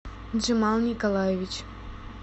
джимал николаевич